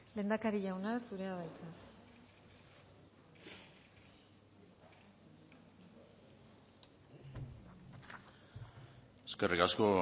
lehendakari jauna zurea da hitza eskerrik asko